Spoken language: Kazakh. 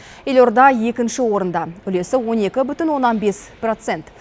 елорда екінші орында үлесі он екі бүтін оннан бес процент